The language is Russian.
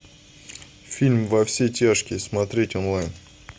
фильм во все тяжкие смотреть онлайн